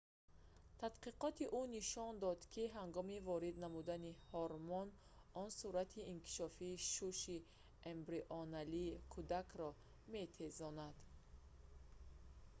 тадқиқоти ӯ нишон дод ки ҳангоми ворид намудани ҳормон он суръати инкишофи шуши эмбрионалии кӯдакро метезонад